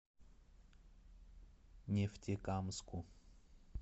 нефтекамску